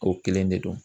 O kelen de don